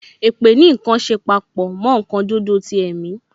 Èpè ní nkan ṣe papọ mo nkan dúdú ti ẹ̀mi